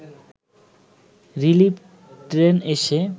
relief train এসে